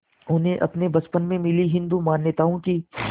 उन्हें अपने बचपन में मिली हिंदू मान्यताओं की